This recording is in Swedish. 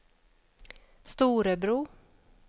Storebro